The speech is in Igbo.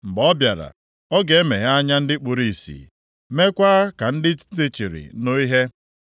Mgbe ọ bịara, ọ ga-emeghe anya ndị kpuru ìsì, meekwa ka ndị ntị chiri nụ ihe.